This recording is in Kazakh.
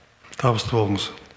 табысты болыңыз